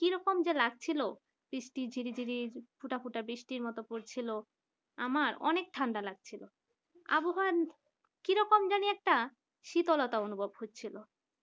কিরকম যে লাগছিল বৃষ্টি ঝিরিঝিরি ফোঁটা ফোঁটা বৃষ্টির মত পড়ছিলো আমার অনেক ঠান্ডা লাগছিলো । আবহাওয়ার কিরকম জানি একটা শীতলতা অনুভব করছি।